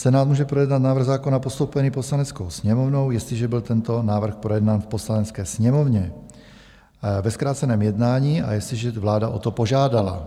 Senát může projednat návrh zákona postoupený Poslaneckou sněmovnou, jestliže byl tento návrh projednán v Poslanecké sněmovně ve zkráceném jednání a jestliže vláda o to požádala.